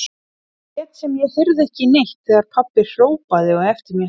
Lét sem ég heyrði ekki neitt þegar pabbi hrópaði á eftir mér.